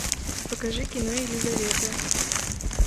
покажи кино елизавета